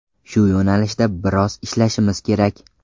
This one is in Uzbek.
Shu yo‘nalishda biroz ishlashimiz kerak.